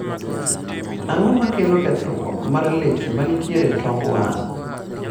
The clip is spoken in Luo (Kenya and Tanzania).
ang'o makelo kethruok mar leche mantie e tong wang'